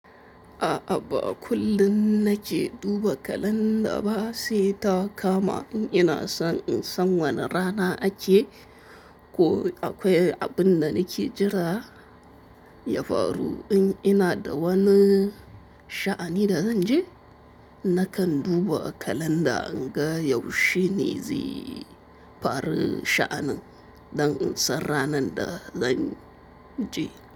A'a ba kullum na ke duba kalanda ba, sai ta kama in ina son in san wane rana ake ko akwai abin da nake jira ya faru. In ina da wani sha'ani da zan je, na kan duba kalanda in ga yaushe ne zai faru sha'anin da in sar ranan da zan je.